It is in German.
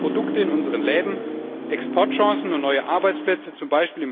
Günstige Produkte in unseren Läden, Exportchancen und neue Arbeitsplätze z.